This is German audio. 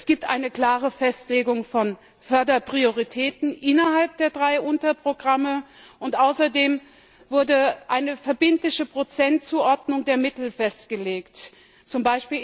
Es gibt eine klare Festlegung von Förderprioritäten innerhalb der drei Unterprogramme und außerdem wurde eine verbindliche Prozentzuordnung der Mittel festgelegt, z.